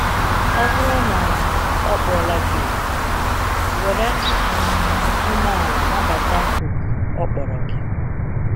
Ọ bụrụ na ọ kpọla gị òkù, were um umeala nabata òkù ọ kpọrọ gị.